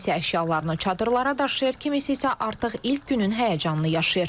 Kimisi əşyalarını çadırlara daşıyır, kimisi isə artıq ilk günün həyəcanını yaşayır.